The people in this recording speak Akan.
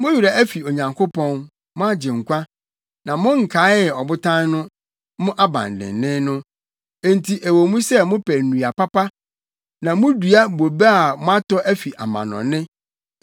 Mo werɛ afi Onyankopɔn, mo Agyenkwa, na monkaee Ɔbotan no, mo abandennen no. Enti ɛwɔ mu sɛ mopɛ nnua papa na mudua bobe a moatɔ afi amannɔne,